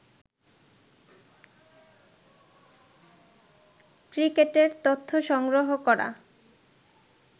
ক্রিকেটের তথ্য সংগ্রহ করা